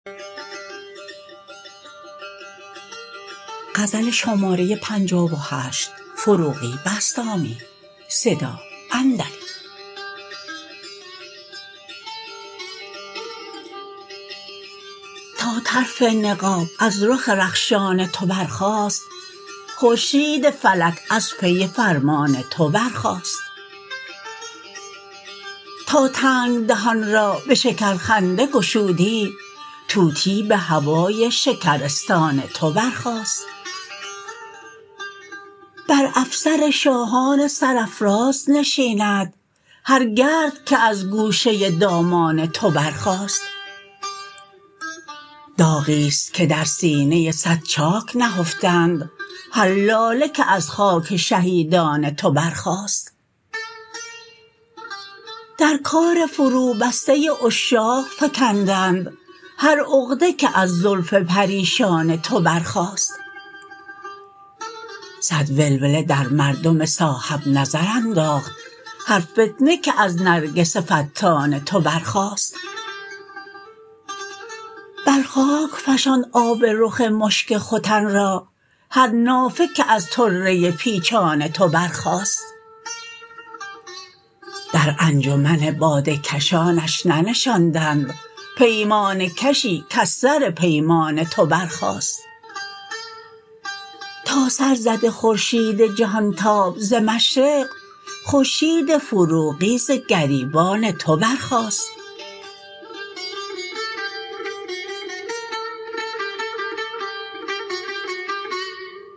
تا طرف نقاب از رخ رخشان تو برخاست خورشید فلک از پی فرمان تو برخاست تا تنگ دهان را به شکر خنده گشودی طوطی به هوای شکرستان تو برخاست بر افسر شاهان سرافراز نشیند هر گرد که از گوشه دامان تو برخاست داغی است که در سینه صد چاک نهفتند هر لاله که از خاک شهیدان تو برخاست در کار فروبسته عشاق فکندند هر عقده که از زلف پریشان تو برخاست صد ولوله در مردم صاحب نظر انداخت هر فتنه که از نرگس فتان تو برخاست بر خاک فشاند آب رخ مشک ختن را هر نافه که از طره پیچان تو برخاست در انجمن باده کشانش ننشانند پیمانه کشی کز سر پیمان تو برخاست تا سرزده خورشید جهان تاب ز مشرق خورشید فروغی ز گریبان تو برخاست